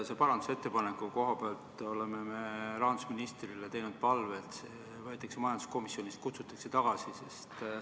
Selle parandusettepaneku puhul me oleme rahandusministrile teinud palve, et see võetaks majanduskomisjonist tagasi.